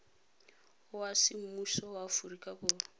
wa semmuso wa aforika borwa